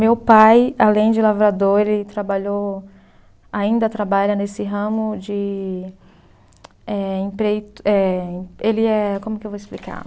Meu pai, além de lavrador, ele trabalhou, ainda trabalha nesse ramo de eh, emprei, eh, ele é, como é que eu vou explicar?